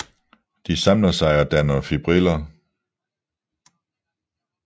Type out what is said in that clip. De samler sig og danner fibriller